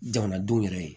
Jamanadenw yɛrɛ ye